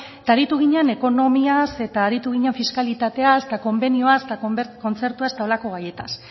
eta aritu ginen ekonomiaz eta aritu ginen fiskalitateaz eta konbenioaz eta kontzertuaz eta holako gaietaz